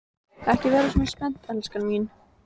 Ekki vera svona spennt, elskan mín.